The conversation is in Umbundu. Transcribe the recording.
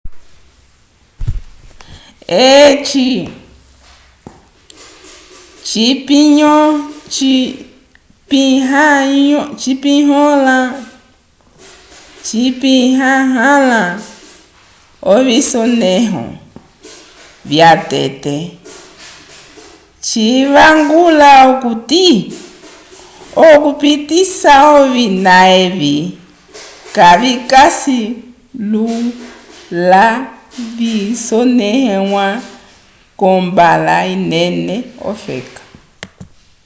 eci cipinyanyõha ovisonẽho vyatete civangula okuti okupitisa ovina evi kavikasi lula vyasoneiwa kombala inene ofeka